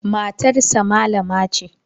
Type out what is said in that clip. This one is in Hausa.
Matarsa malama ce.